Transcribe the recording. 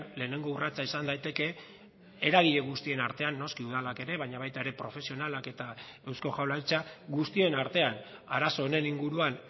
lehenengo urratsa izan daiteke eragile guztien artean noski udalak ere baina baita ere profesionalak eta eusko jaurlaritza guztien artean arazo honen inguruan